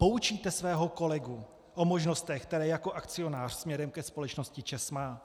Poučíte svého kolegu o možnostech, které jako akcionář směrem ke společnosti ČEZ má?